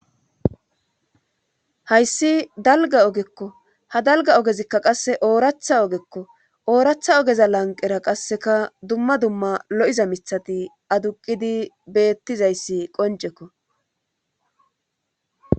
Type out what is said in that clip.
hayssi dalga ogekko ha dalga ogezikka qasse ooratha ogekko ooratha ogeza lanqera qasseka dumma dumma lo7iza mithati aduqidi beettizayssi qoncekko